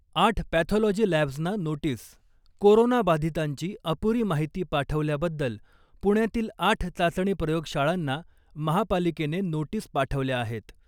आठ पॅथॉलॉजी लॅब्जना notice, corona बाधितांची अपुरी माहिती पाठवल्याबद्दल पुण्यातील आठ चाचणी प्रयोगशाळांना महापालिकेने नोटीस पाठवल्या आहेत .